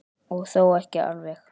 Og þó ekki alveg.